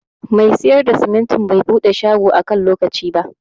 Mai siyar da simintin bai buɗe shagon a kan lokaci ba.